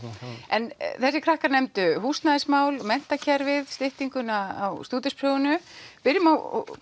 en þessir krakkar nefndu húsnæðismál menntakerfið styttingu á stúdentsprófi byrjum á